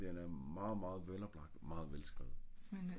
den er meget meget veloplagt og meget velskrevet